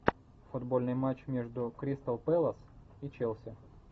футбольный матч между кристал пэлас и челси